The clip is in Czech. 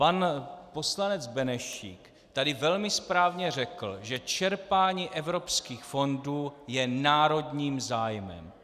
Pan poslanec Benešík tady velmi správně řekl, že čerpání evropských fondů je národním zájmem.